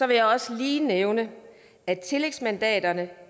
vil jeg også lige nævne at tillægsmandaterne